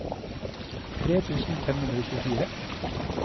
tre tusen fem hundre og tjuefire